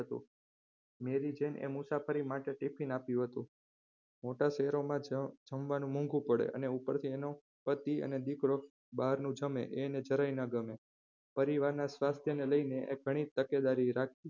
મેરી જેને મુસાફરી માટે tiffin આપ્યું હતું મોટા શહેરોમાં જ્યાં જમવાનું મોંઘુ પડે અને ઉપરથી એનો પતિ અને દીકરો બારનું જમેં એ એને જરાય ના ગમે પરિવારના સ્વાસ્થ્યને લઇને એ ઘણી તકેદારી રાખતી.